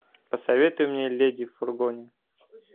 посоветуй мне леди в фургоне